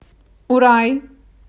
урай